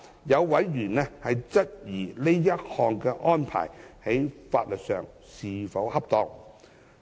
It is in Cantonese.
有委員質疑這項安排在法律上是否恰當。